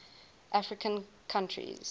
african countries